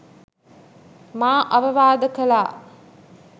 මා අවවාද කළා